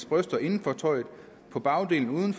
brysterne inden for tøjet på bagdelen uden